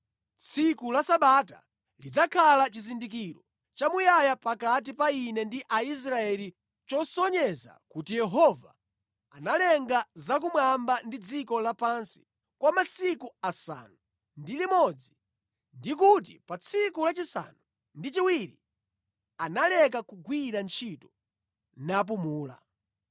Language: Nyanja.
Tsiku la Sabata lidzakhala chizindikiro chamuyaya pakati pa Ine ndi Aisraeli chosonyeza kuti Yehova analenga za kumwamba ndi dziko lapansi kwa masiku asanu ndi limodzi ndi kuti pa tsiku lachisanu ndi chiwiri analeka kugwira ntchito napumula.”